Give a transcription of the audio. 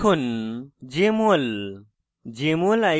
search বারে লিখুন jmol